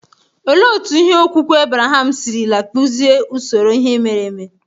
Olee otú okwukwe Ebreham sirila kpụzie usoro ihe mere eme?